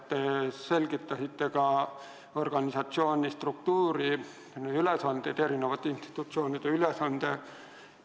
Te selgitasite ka organisatsiooni struktuuri, ülesandeid, eri institutsioonide kohustusi.